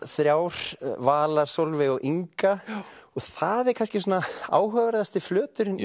þrjár Vala Sólveig og Inga og það er kannski svona áhugaverðasti flöturinn í